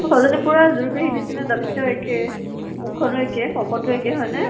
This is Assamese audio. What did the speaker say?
ছোৱালী জনী পুৰা যুৰি পেহী নিছিনা দাঁত কেইটাও একে, মুখ খ্নো একে, শকতো একে হয় নে?